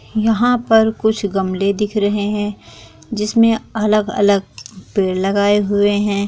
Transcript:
यहाँ पर कुछ गमले दिख रहे हैं जिस मे अलग-अलग पेड़ लगाए हुए हैं।